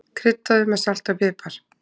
Kryddaðu með salti og pipar.